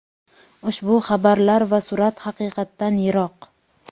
ushbu xabarlar va surat haqiqatdan yiroq.